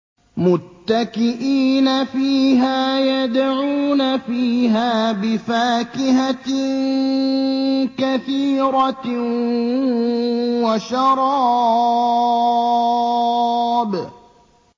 مُتَّكِئِينَ فِيهَا يَدْعُونَ فِيهَا بِفَاكِهَةٍ كَثِيرَةٍ وَشَرَابٍ